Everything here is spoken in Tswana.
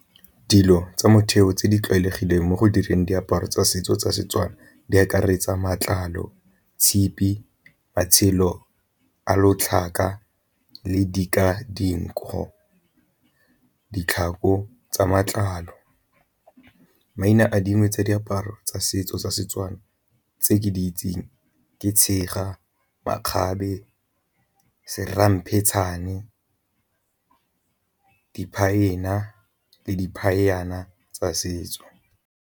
Dilo tsa motheo tse di tlwaelegileng mo go direng diaparo tsa setso tsa Setswana di akaretsa matlalo, tshipi, matshelo a lotlhaka, , ditlhako tsa matlalo. Maina a dingwe tsa diaparo tsa setso tsa Setswana tse ke di itseng ke tshega, makgabe, se ramphetšhane, le di tsa setso.